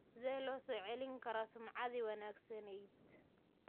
Sidee loo soo celin karaa sumcaddii wanaagsanayd?